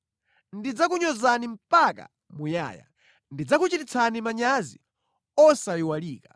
Ndidzakunyozani mpaka muyaya. Ndidzakuchititsani manyazi osayiwalika.’ ”